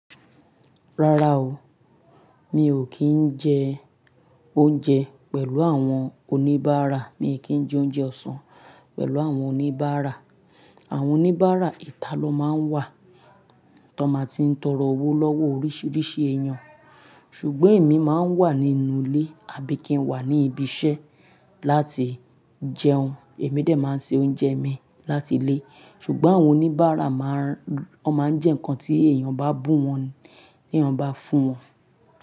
Rárá o, mi ò kí ń jẹ oúnjẹ pẹ̀lú àwọn oníbàárà. Mi ò kí ń jẹ oúnjẹ ọ̀sán pẹ̀lú àwọn oníbàárà. Àwọn oníbàárà ìta lọ máa ń wà tó máa ti ń tọrọ owó lọ́wọ́ oríṣiríṣi èèyàn. Ṣùgbọ́n èmi máa ń wà nínú ilé àbí kí ń wà ní ibi iṣẹ́ láti jẹun. Èmi dè máa ń se oúnjẹ mi láti ilé. Ṣùgbọ́n àwọn oníbàárà máa ń jẹ nǹkan tí èèyàn bá bù wọ́n, tí èèyàn bá fún wọn.